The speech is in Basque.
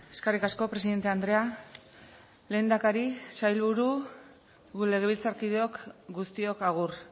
eskerrik asko presidente andrea lehendakari sailburu legebiltzarkideok guztiok agur